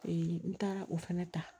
n taara o fana ta